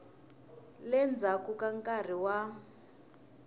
le ndzhaku ka nkarhi wa